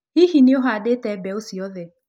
Hihi nĩ ũhaandĩte mbeũ ciothe?